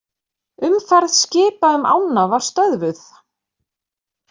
Umferð skipa um ána var stöðvuð